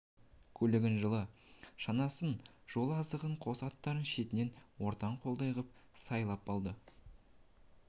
көлігін жылы шанасын жол азығын қос аттарын шетінен ортан қолдай қып сайлап алды